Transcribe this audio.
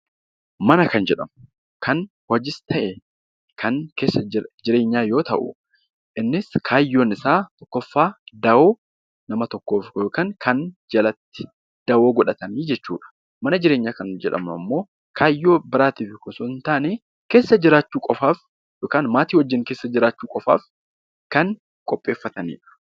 Mana kan jedhamu kan hojiis ta'e, kan jireenyaa yoo ta'u, innis kaayyoon isaa tokkoffaa, dawoo nama tokkoof yookaan kan jalatti dawoo godhatanii jechuu dha. Mana jireenyaa kan jedhamu immoo kaayyoo biraatiif osoo hin taane keessa jiraachuu qofaaf yookiin maatii wajjin keessa jiraachuu qofaaf kan qopheeffatani dha.